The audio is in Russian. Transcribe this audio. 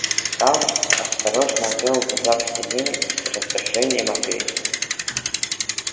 сатт осторожно отвёл глаза к стене и с раздражением ответил